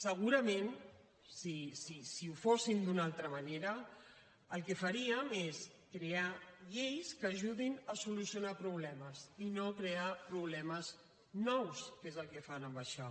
segurament si fóssim d’una altra manera el que faríem és crear lleis que ajudin a solucionar problemes i no crear problemes nous que és el que fan amb això